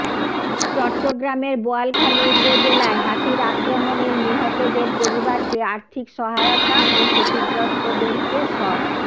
চট্টগ্রামের বোয়ালখালী উপজেলায় হাতির আক্রমণের নিহতদের পরিবারকে আর্থিক সহায়তা ও ক্ষতিগ্রস্তদেরকে সর